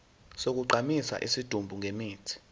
sokugqumisa isidumbu ngemithi